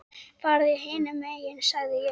Farðu hinum megin sagði ég.